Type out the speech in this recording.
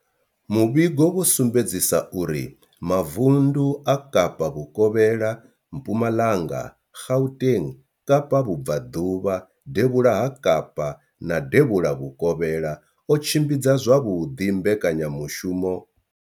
Muvhigo wo sumbedzisa uri mavundu a Kapa vhukovhela, Mpumalanga, Gauteng, Kapa vhubvaḓuvha, devhula ha Kapa na devhula vhukovhela o tshimbidza zwavhuḓi mbekanyamushumo.